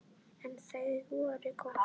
En þau voru góð.